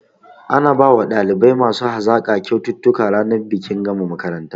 Ana bawa ɗalibai masu hazaƙa kyaututtuka ranar bikin gama makaranta